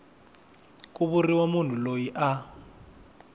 ku vuriwa munhu loyi a